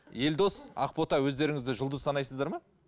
елдос ақбота өздеріңізді жұлдыз санайсыздар ма